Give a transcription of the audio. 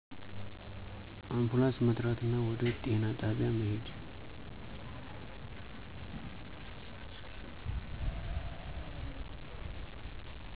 አንፑላንስ መጥራትና ወደ ጤና ጣቢያ መሄድ